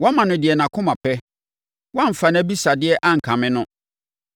Woama no deɛ nʼakoma pɛ; woamfa nʼabisadeɛ ankame no.